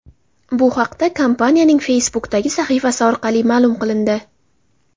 Bu haqda kompaniyaning Facebook’dagi sahifasi orqali ma’lum qilindi .